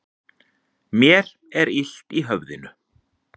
Mér er illt í höfðinu.